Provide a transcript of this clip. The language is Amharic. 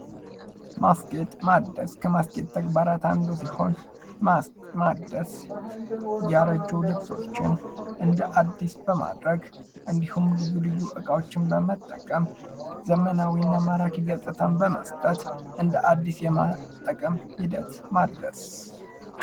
ማስጌጥ ማደስ ከማስጌጥ ተግባራት አንዱ ሲሆን ፤ ማደስ ያረጁ ልብሶችን እንደ አዲስ በማድረግ እንዲሁም፤ ልዩ ልዩ እቃዎችን በመጠቀም ዘመናዊ እና ማራኪ ገፅታን በመስጠት እንደአዲስ የመጠቀም ሂደት ማደስ።